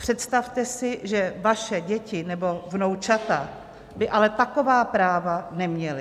Představte si, že vaše děti nebo vnoučata by ale taková práva neměly.